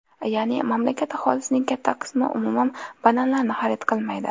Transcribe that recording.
Ya’ni, mamlakat aholisining katta qismi umuman bananlarni xarid qilmaydi.